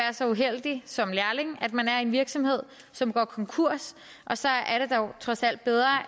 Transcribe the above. så uheldig som lærling at man er i en virksomhed som går konkurs og så er det dog trods alt bedre